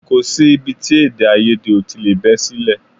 Kò sí ibi tí èdèàìyedè ò tí lè bẹ́ sílẹ̀